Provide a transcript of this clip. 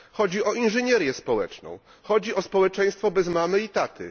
Chodzi o inżynierię społeczną, chodzi o społeczeństwo bez mamy i taty.